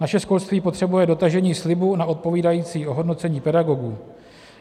Naše školství potřebuje dotažení slibu na odpovídající ohodnocení pedagogů.